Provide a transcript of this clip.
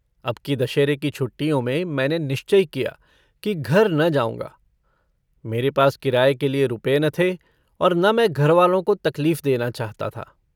अब की दशहरे की छुट्टियों में मैने निश्चय किया कि घर न जाऊँगा मेरे पास किराए के लिए रुपए न थे और न मैं घरवालों को तकलीफ़ देना चाहता था।